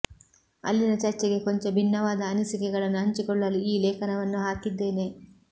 ಅಲ್ಲಿನ ಚರ್ಚೆಗೆ ಕೊಂಚ ಭಿನ್ನವಾದ ಅನಿಸಿಕೆಗಳನ್ನು ಹಂಚಿಕೊಳ್ಳಲು ಈ ಲೇಖನವನ್ನು ಹಾಕಿದ್ದೇನೆ